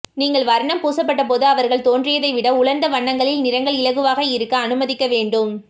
நீங்கள் வர்ணம் பூசப்பட்டபோது அவர்கள் தோன்றியதை விட உலர்ந்த வண்ணங்களில் நிறங்கள் இலகுவாக இருக்க அனுமதிக்க வேண்டும்